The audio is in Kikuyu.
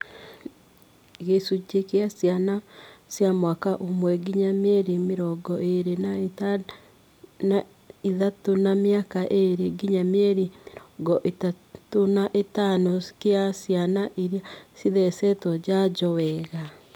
Gĩcunjĩ kĩa ciana cia mwaka ũmwe ngĩnya mĩeri mĩrongo ĩĩrĩ na ithatũ na mĩaka ĩĩrĩ ngĩnya mĩeri mĩrongo ĩtatũ na ĩtano kĩa ciana iria cithecetwo njanjo wega